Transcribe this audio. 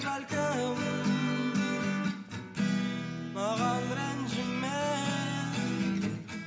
бәлкім маған ренжіме